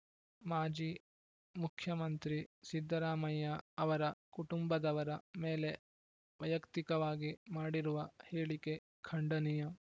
ಮಾಜಿ ಮುಖ್ಯುಮಂತ್ರಿ ಸಿದ್ದರಾಮಯ್ಯ ಅವರ ಕುಟುಂಬದವರ ಮೇಲೆ ವೈಯಕ್ತಿಕವಾಗಿ ಮಾಡಿರುವ ಹೇಳಿಕೆ ಖಂಡನೀಯ